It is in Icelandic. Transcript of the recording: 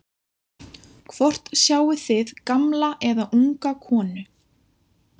Hvort sjáið þið gamla eða unga konu?